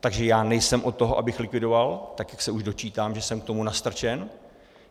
Takže já nejsem od toho, abych likvidoval, tak jak se už dočítám, že jsem k tomu nastrčen.